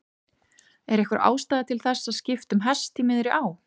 Er einhver ástæða til þess að skipta um hest í miðri á?